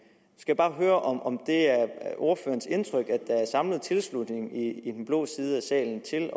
skal bare høre om det er ordførerens indtryk at der er samlet tilslutning i den blå side af salen til